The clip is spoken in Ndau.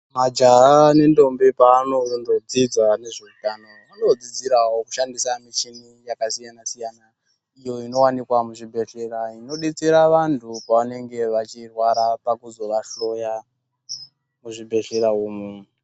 Majaha nendombi paanondodzidza nezveutano anodzidzirawo kushandisa muchini yakasiyana siyana iyo inowanikwa muzvibhedhlera inodetsera vantu pavanenge vachirwara pakuzovahloya muzvibhedhlera umu.